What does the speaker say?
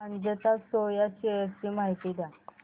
Ajanta Soya shares ची माहिती द्या